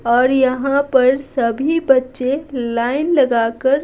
और यहाँ पर सभी बच्चे लाइन लगाकर--